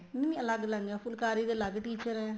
ਨਹੀਂ ਅਲੱਗ ਅਲੱਗ ਫੁਲਾਕਰੀ ਦੇ ਅਲੱਗ teacher ਏ